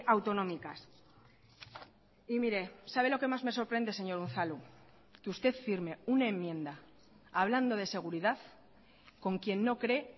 autonómicas y mire sabe lo que más me sorprende señor unzalu que usted firme una enmienda hablando de seguridad con quien no cree